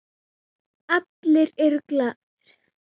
Allir eru glaðir.